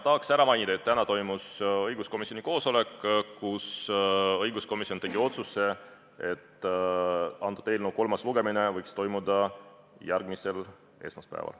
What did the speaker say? Jaa, ma tahan ära mainida, et täna toimus õiguskomisjoni koosolek, kus komisjon tegi otsuse, et selle eelnõu kolmas lugemine võiks toimuda järgmisel esmaspäeval.